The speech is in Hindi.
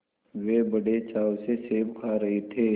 वे बड़े चाव से सेब खा रहे थे